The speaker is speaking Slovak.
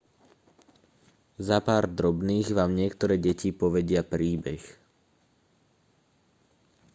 za pár drobných vám niektoré deti povedia príbeh